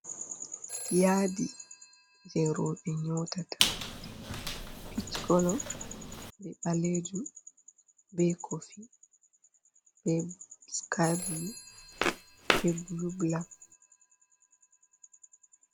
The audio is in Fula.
Yaadi jei rooɓe nyotata pich kolo be ɓalejum, be kofi be skyblu, ɓe blubulak.